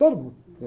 Todo mundo.